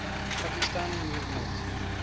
pakistan movement